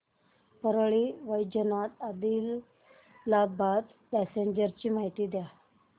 Parli Vaijnath Adilabad passenger ची माहिती द्या